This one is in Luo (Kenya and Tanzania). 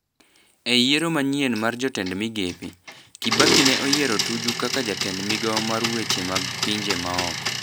E yiero manyien mar jotend migepe, Kibaki ne oyiero Tuju kaka jatend migao mar weche mag pinje maoko.